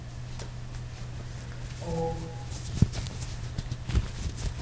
ഓ ശെരി ശെരി